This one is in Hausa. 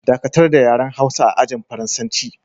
Dakatar da yaren Hausa a ajin Faransanci!